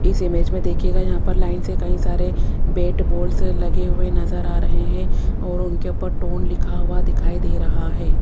इस इमेज में देखिएगा यहां पर लाइन से कई सारे बैट बॉल्स लगे हुए नजर आ रहे हैं और उनके ऊपर टोन लिखा हुआ दिखाई दे रहा है।